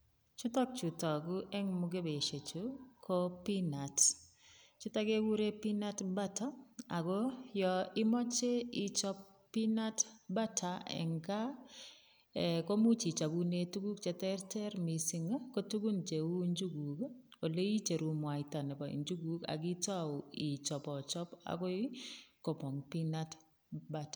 Chutok chu tagu eng mugebeisiechu, ko peanuts. Chutok keguren peanut butter ago yo imoche ichop peanut butter eng kaa, komuch ichabone tuguk cheteter mising ko tugun cheu njuguk, ole icheru mwaita nebo njuguk ak itau ichobochob agoi komong peanut butter.